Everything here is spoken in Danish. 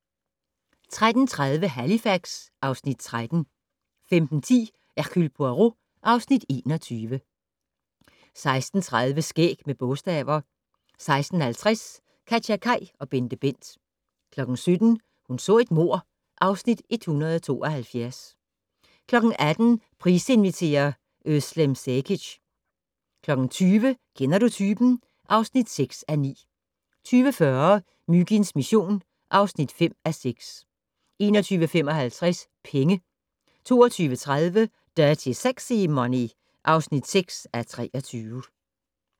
13:30: Halifax (Afs. 13) 15:10: Hercule Poirot (Afs. 21) 16:30: Skæg med bogstaver 16:50: KatjaKaj og BenteBent 17:00: Hun så et mord (Afs. 172) 18:00: Price inviterer - Özlem Cekic 20:00: Kender du typen? (6:9) 20:40: Myginds mission (5:6) 21:55: Penge 22:30: Dirty Sexy Money (6:23)